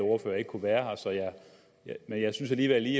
ordfører ikke kunne være her men jeg synes alligevel lige